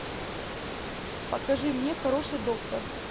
покажи мне хороший доктор